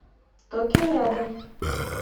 токио рядом